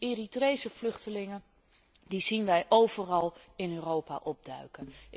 Eritrese vluchtelingen zien wij overal in Europa opduiken.